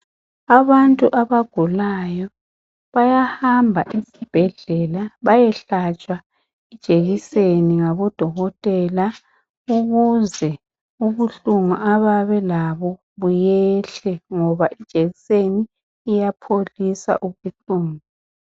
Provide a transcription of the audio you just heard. Abantu abagulayo bayahamba esibhedlela bayehlatshwa ijekiseni ngabodokotela ukuze ubuhlungu ababelabo buyehle ngoba ijekiseni iyapholisa ubuhlungu.